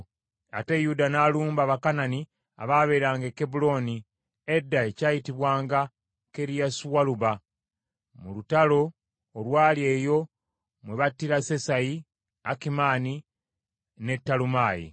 Ate Yuda n’alumba Abakanani abaabeeranga e Kebbulooni (edda ekyayitibwanga Kiriasualuba), mu lutalo olwali eyo mwe battira Sesayi, Akimaani ne Talumaayi.